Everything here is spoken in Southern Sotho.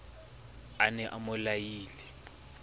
a ne a mo laile